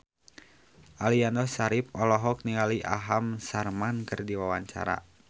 Aliando Syarif olohok ningali Aham Sharma keur diwawancara